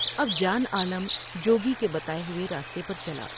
اب جان عالم جوگی کے بتائے ہوئے راستے پر چلا ۔